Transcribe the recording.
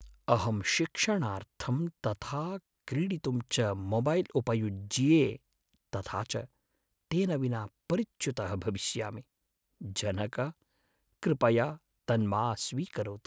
अहं शिक्षणार्थं तथा क्रीडितुं च मोबैल् उपयुज्ये तथा च तेन विना परिच्युतः भविष्यामि, जनक। कृपया तन्मा स्वीकरोतु। बालकः